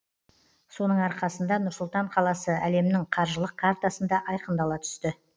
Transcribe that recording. соның арқасында нұр сұлтан қаласы әлемнің қаржылық картасында айқындала түсті